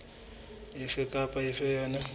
efe kapa efe ya yona